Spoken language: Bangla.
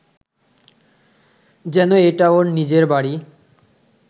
যেন এটা ওর নিজের বাড়ি